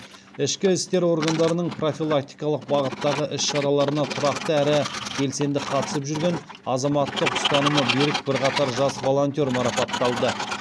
ішкі істер органдарының профилактикалық бағыттағы іс шараларына тұрақты әрі белсенді қатысып жүрген азаматтық ұстанымы берік бірқатар жас волонтер марапатталды